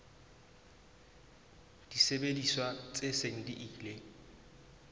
disebediswa tse seng di ile